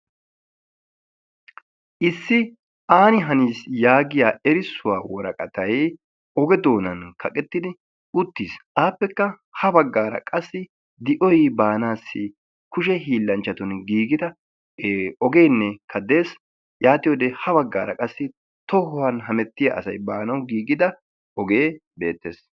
Issi aani hanis yaagiyaa erissuwaa woraqatay oge doonan kaqettidi uttiis. apekka ha baggaara qassi di"oy kiyi baanassi kushshe hiillanchchatun giigida ogeenne des yaatiyoode ha baggaara qassi tohuwaan hemettiyaa asay baanawu giigida ogee beettees.